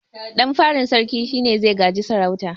Ɗan farin sarkin shine zai gaji sarauta